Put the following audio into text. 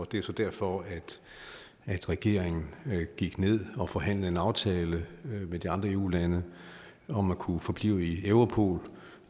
det er så derfor at regeringen gik ned og forhandlede en aftale med de andre eu lande om at kunne forblive i europol